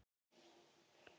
Við Gunnar?